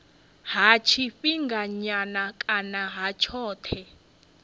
ha tshifhinganyana kana ha tshothe